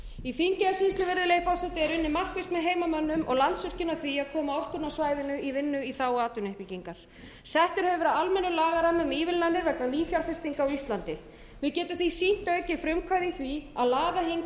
í þingeyjarsýslu virðulegi forseti er unnið markvisst með heimamönnum og landsvirkjun að því að koma orkunni á svæðinu í vinnu í þágu atvinnuuppbyggingar sett hefur verið almennur lagarammi um ívilnanir vegna nýfjárfestinga á íslandi við getum því sýnt aukið frumkvæði í því að laða hingað erlenda